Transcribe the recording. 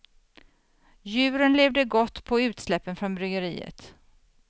Djuren levde gott på utsläppen från bryggeriet.